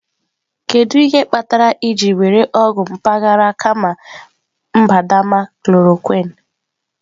Kedu ihe kpatara ị jiri were ọgwụ mpaghara kama mbadamba chloroquine?